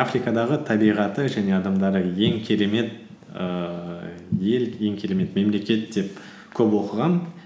африкадағы табиғаты және адамдары ең керемет ііі ел ең керемет мемлекет деп көп оқығанмын